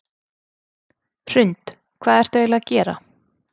Hrund: Hvað ertu eiginlega að gera?